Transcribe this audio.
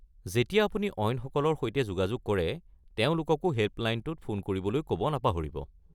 যেতিয়া আপুনি অইনসকলৰ সৈতে যোগাযোগ কৰে, তেওঁলোককো হেল্পলাইনটোত ফোন কৰিবলৈ ক'ব নাপাহৰিব।